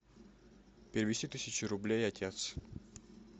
перевести тысячу рублей отец